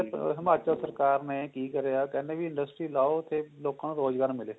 ਹਿਮਾਚਲ ਸਰਕਾਰ ਨੇ ਕਿ ਕਰਿਆ ਕਹਿੰਦੇ ਵੀ industry ਲਾਓ ਤੇ ਲੋਕਾ ਨੂੰ ਰੋਜ਼ਗਾਰ ਮਿਲੇ